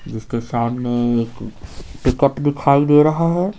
जिसके सामने एक टिकट दिखाई दे रहा है।